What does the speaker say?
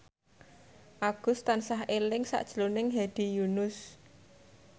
Agus tansah eling sakjroning Hedi Yunus